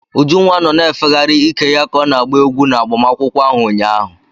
Ujunwa nọ na-efegharị ike ya ka ọ na-agba egwu n'agbamakwụkwọ ahụ ụnyaahụ.